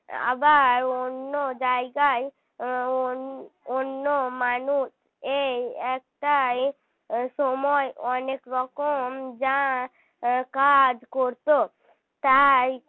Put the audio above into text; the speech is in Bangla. আবার অন্য জায়গায় অন্য মানুষ এই একটাই সময় অনেক রকম যা কাজ করতো তাই